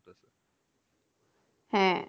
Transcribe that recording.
হ্যাঁ